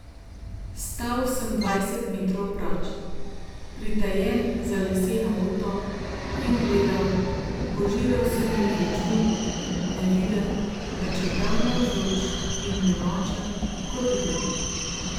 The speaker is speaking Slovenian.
Stal sem dvajset metrov proč, pritajen za leseno uto, in gledal, požiral sem ju z očmi, neviden, pa čeprav navzoč, in nemočen, kot duh.